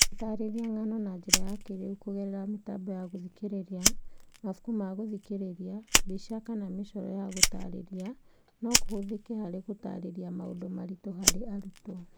Gũtaarĩria ng'ano na njĩra ya kĩĩrĩu kũgerera mĩtambo ya gũthikĩrĩria, mabuku ma gũthikĩrĩria, mbica, kana mĩcoro ya gũtaarĩria no kũhũthĩke harĩ gũtaarĩria maũndũ maritũ harĩ arutwo.